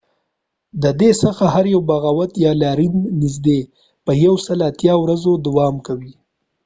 د دې څخه هر یو بغاوت یا لاریون نږدې ۱۷ ورځې دوام کوي